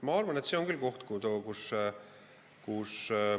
Ma arvan, et see on küll koht, kus ...